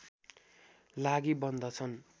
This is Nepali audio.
लागि बन्दछन्